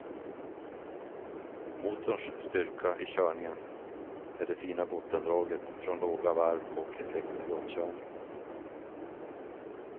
Motorns styrka i körningen är det fina bottendraget från låga varv och effekten vid omkörning.